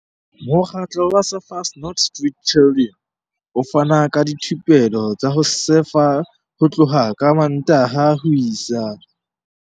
Mokgatlo wa Surfers Not Street Chidren o fana ka dithupelo tsa ho sefa ho tloha ka Mmantaha ho isa.